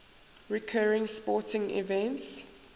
recurring sporting events